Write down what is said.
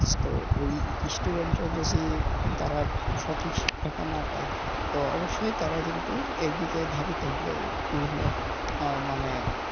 তো এই student রা যদি তারা সঠিক শিক্ষা টা না পায় তো অবশ্যই তারা কিন্তু এদিকে ধাবিত হবে মানে,